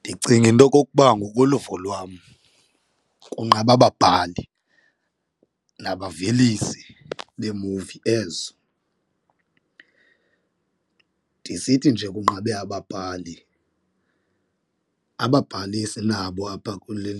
Ndicinga into okokuba ngokoluvo lwam kunqabe ababhali nabavelisi beemuvi ezo. Ndisithi nje kunqabe ababhali ababhali sinabo apha kule